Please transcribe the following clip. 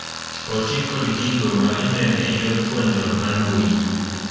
Oti kod gigo ma ineno e yor puonjruok mar mbuyi